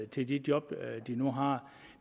til de job de nu har